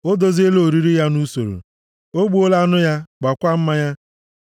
O doziela oriri ya nʼusoro, o gbuola anụ ya, gwaakwa mmanya. + 9:2 A na-eji ụda máá gwakọọ na mmanya i ji mee ka ọtọ ezi ụtọ nʼọnụ.